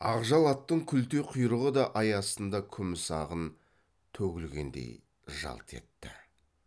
ақжал аттың күлте құйрығы да ай астында күміс ағын төгілгендей жалт етті